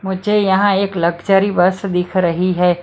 मुझे यहां एक लग्जरी बस दिख रही है।